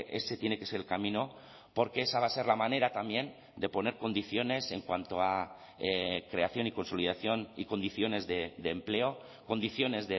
ese tiene que ser el camino porque esa va a ser la manera también de poner condiciones en cuanto a creación y consolidación y condiciones de empleo condiciones